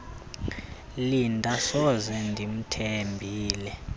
linda soze ndimthembile